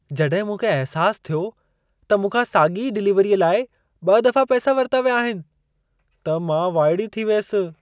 जॾहिं मूंखे अहिसासु थियो त मूंखा साॻिई डिलीवरीअ लाइ ॿ दफ़ा पैसा वरिता विया आहिनि, त मां वाइड़ी थी वियसि।